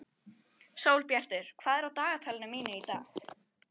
Sólbjartur, hvað er á dagatalinu mínu í dag?